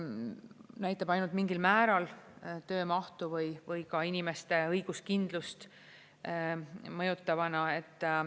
Näitab ainult mingil määral töömahtu või ka inimeste õiguskindlust mõjutavana.